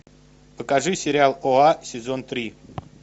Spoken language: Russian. покажи сериал оа сезон три